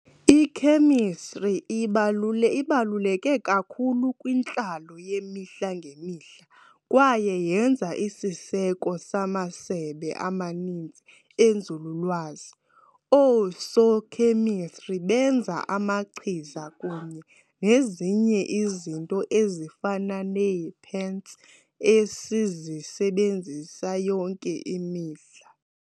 Ikhemistri ibalule ibaluleke kakhulu kwintlalo yemihla ngemihla kwaye yenza isiseko samasebe amaninzi enzululwazi. Oosokhemistri benza amachiza kunye nezinye izinto ezifana nee-paints esizisebenzisa yonke imihla.